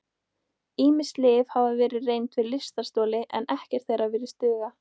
Ýmis lyf hafa verið reynd við lystarstoli en ekkert þeirra virðist duga.